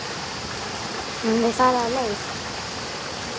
Höfum við farið af leið?